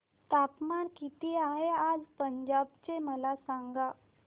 तापमान किती आहे आज पंजाब चे मला सांगा